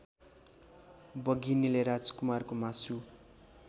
बघिनीले राजकुमारको मासु